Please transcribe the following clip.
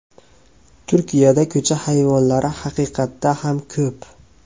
Turkiyada ko‘cha hayvonlari haqiqatda ham ko‘p.